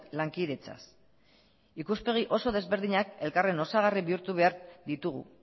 lankidetzaz ikuspegi oso desberdinak elkarren osagarri bihurtu behar ditugu